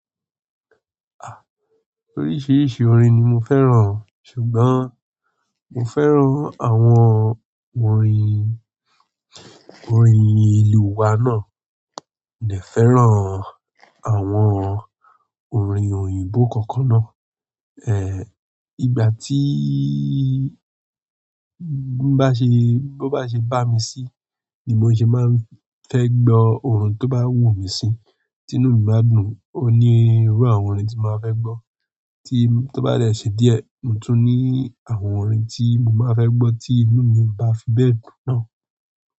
Ah! Oríṣìíríṣìí orin ni mo fẹ́ràn, ṣùgbọ́n mo fẹ́ràn àwọn orin, orin ìlú wa náà, mo dẹ fẹ́ràn àwọn orin òyìnbó kọ̀ọ̀kan náà. E! Ìgbà tííi nbá ṣe, bó bá ṣe bá mi sí ni mo ṣe máa ń fẹ́ gbọ́ ohun tó bá wù mí sí, tí inú mi bá dùn, ó ní irú àwọn orin tí màá fẹ́ gbọ́. Tí ó bá rldẹ ṣe díẹ̀, mo tún ní àwọn orin tí mo máa fẹ́ gbọ́ tí inú mi ò bá fi bẹ́ẹ̀ dùn náà.